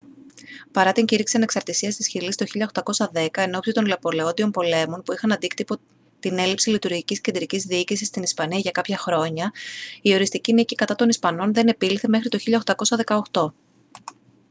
παρά την κήρυξη ανεξαρτήσίας της χιλής το 1810 ενόψει των ναπολεόντιων πολέμων που είχαν αντίκτυπο την έλλειψη λειτουργικής κεντρικής διοίκησης στην ισπανία για κάποια χρόνια η οριστική νίκη κατά των ισπανών δεν επήλθε μέχρι το 1818